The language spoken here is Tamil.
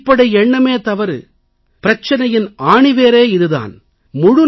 இந்த அடிப்படை எண்ணமே தவறு பிரச்சனையின் ஆணிவேரே இது தான்